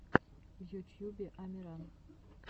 в ютьюбе амиран